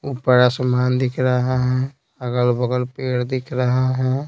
ऊपर आसमान दिख रहा है अगल-बगल पेड़ दिख रहा है।